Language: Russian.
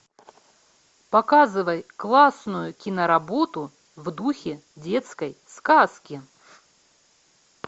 показывай классную киноработу в духе детской сказки